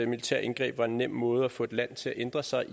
militære indgreb var en nem måde at få et land til at ændre sig